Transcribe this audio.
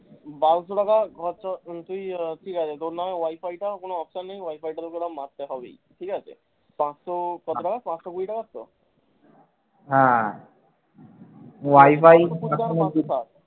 বারোশো টাকা ধর তোর তুই আহ ঠিক আছে তোর নামে wi-fi টা কোনও option নেই wi-fi টা তোকে মারতে হবেই ঠিকাছে পাঁচশো কত টাকা পাঁচশো কুড়ি টাকা তো?